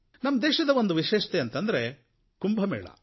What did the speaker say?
ನಮ್ಮ ದೇಶದ ಒಂದು ವಿಶೇಷತೆ ಅಂತಂದ್ರೆ ಕುಂಭ ಮೇಳ